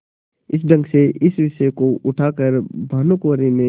इस ढंग से इस विषय को उठा कर भानुकुँवरि ने